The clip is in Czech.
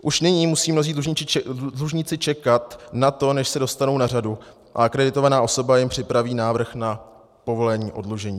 Už nyní musí mnozí dlužníci čekat na to, než se dostanou na řadu a akreditovaná osoba jim připraví návrh na povolení oddlužení.